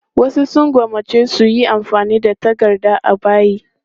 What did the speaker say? Wasu sun gwammaci su yi amfani da takarda a bayi.